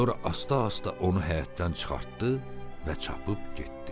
Sonra asta-asta onu həyətdən çıxartdı və çapıb getdi.